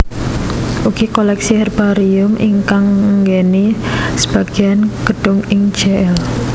Ugi koleksi herbarium ingkang ngenggeni sebagéyan gedung ing Jl